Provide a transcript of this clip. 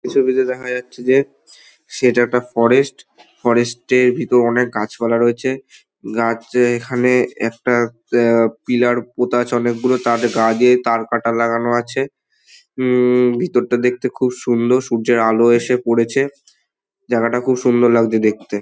এই ছবিতে দেখা যাচ্ছে যে সেটা একটা ফরেস্ট । ফরেস্ট -এর ভেতরে অনেক গাছপালা রয়েছে গাছ যে এখানে একটা পে পিলার পোঁতা রয়েছে তার গা দিয়ে তারকাটা লাগানো আছে। উম-ম ভেতরটা দেখতে খুব সুন্দর। সূর্যের এসে পড়েছে জায়গাটা খুব সুন্দর লাগছে দেখতে।